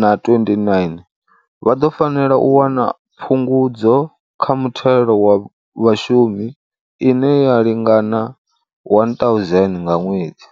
na 29, vha ḓo fanela u wana phungudzo kha muthelo wa vhashumi ine ya lingana R1 000 nga ṅwedzi.